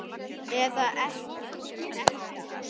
Eða ekkja hans?